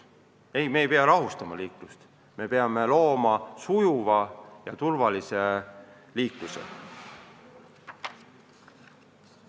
Ei, me ei pea liiklust rahustama, me peame tagama sujuva ja turvalise liikluse.